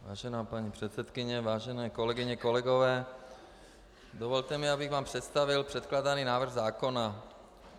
Vážená paní předsedkyně, vážené kolegyně, kolegové, dovolte mi, abych vám představil předkládaný návrh zákona.